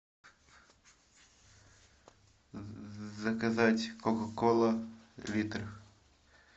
заказать кока кола литр